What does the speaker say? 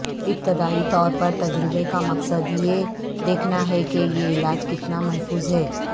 ابتدائی طور پر تجربے کا مقصد یہ دیکھنا ہے کہ یہ علاج کتنا محفوظ ہے